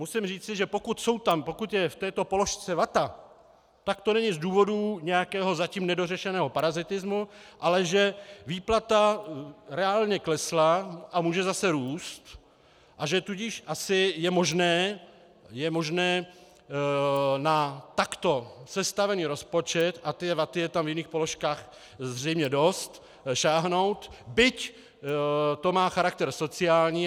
Musím říci, že pokud jsou tam, pokud je v této položce vata, tak to není z důvodů nějakého zatím nedořešeného parazitismu, ale že výplata reálně klesla a může zase růst, a že tudíž asi je možné na takto sestavený rozpočet - a té vaty je tam v jiných položkách zřejmě dost - sáhnout, byť to má charakter sociální.